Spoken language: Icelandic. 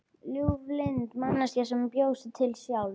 Ljúflynda manneskju sem bjó sig til sjálf.